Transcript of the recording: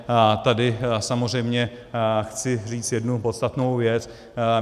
Tady samozřejmě chci říct jednu podstatnou věc.